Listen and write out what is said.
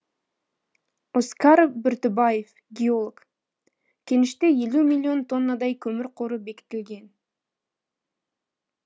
оскар бүртібаев геолог кеніште елу миллион тоннадай көмір қоры бекітілген